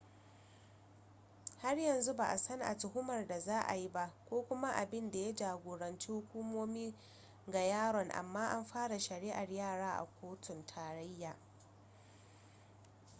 har yanzu ba a san a tuhumar da za a yi ba ko kuma abin da ya jagoranci hukumomi ga yaron amma an fara shari'ar yara a kotun tarayya